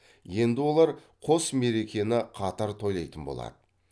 енді олар қос мерекені қатар тойлайтын болады